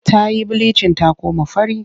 Ta yi bilicin ta koma fara.